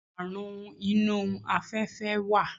Àrun inú afẹ́fẹ́ wà.